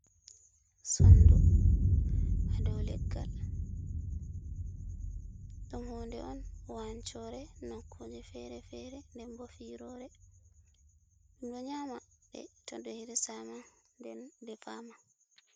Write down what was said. Sondu ha dow leggal. Ɗum hunde on wancore nakkuje fere fere, denbo firore. Ɓebo nyama beɗo hirsama nden defama.